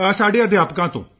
ਸਾਡੇ ਅਧਿਆਪਕਾਂ ਤੋਂ